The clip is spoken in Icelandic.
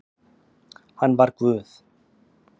Hann var Guð